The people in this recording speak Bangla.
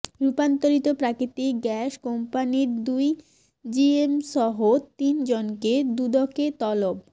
রূপান্তরিত প্রাকৃতিক গ্যাস কোম্পানির দুই জিএমসহ তিন জনকে দুদকে তলব